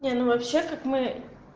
не ну вообще как мы